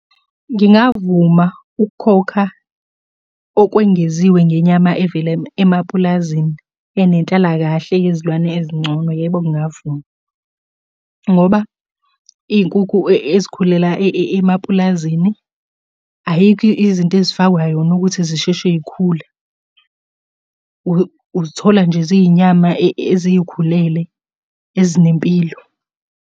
Ngingavuma ukukhokha okwengeziwe ngenyama evela emapulazini enenhlalakahle yezilwane ezingcono. Yebo ngingavuma, ngoba iy'nkukhu ezikhulela emapulazini, ayikho izinto ezifakwa yona ukuthi zisheshe iy'khule. Uzithola nje zinyama ezikhulele ezinempilo.